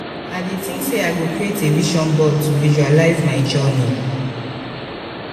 i dey think say i go create a vision board to visualize my journey.